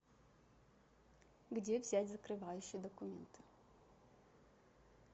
где взять закрывающие документы